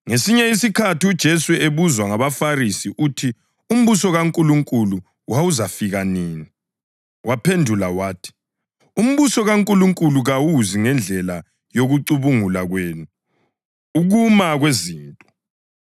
Ngesinye isikhathi uJesu ebuzwe ngabaFarisi ukuthi umbuso kaNkulunkulu wawuzafika nini, waphendula wathi, “Umbuso kaNkulunkulu kawuzi ngendlela yokucubungula kwenu ukuma kwezinto,